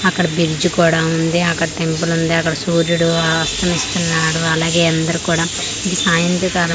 అక్కడ బ్రిడ్జ్ కూడా ఉంది అక్కడ టెంపులుంది అక్కడ సూర్యుడు అస్తమిస్తున్నాడు అలాగే అందరు కూడా ఇది సాయంత్రకాలం.